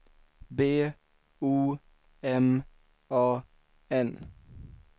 B O M A N